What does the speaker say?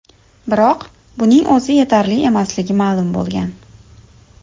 Biroq buning o‘zi yetarli emasligi ma’lum bo‘lgan.